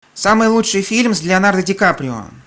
самый лучший фильм с леонардо ди каприо